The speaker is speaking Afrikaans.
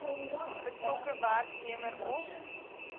betrokke werknemer of